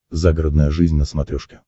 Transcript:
загородная жизнь на смотрешке